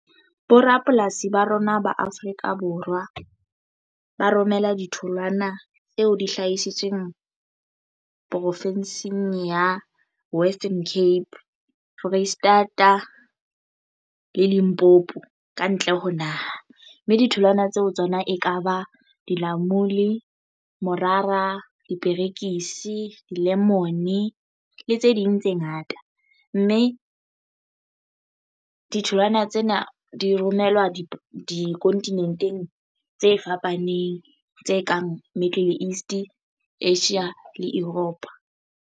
Bo rapolasi ba rona ba Afrika Borwa ba romela ditholwana tseo di hlahisitsweng profinsing ya Western Cape, Foreisetata le Limpopo kantle ho naha mme ditholwana tseo tsona e kaba dilamuni, morara diperekisi di-lemon le tse ding tse ngata mme ditholwana tsena di romelwa di dikontinenteng tse fapaneng tse kang Middle East Asia le Europa.